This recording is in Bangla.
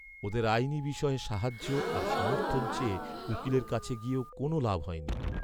ওদের আইনি বিষয়ে সাহায্য আর সমর্থন চেয়ে উকিলের কাছে গিয়েও কোনও লাভ হয়নি!